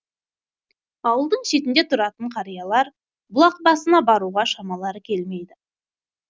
ауылдың шетінде тұратын қариялар бұлақ басына баруға шамалары келмейді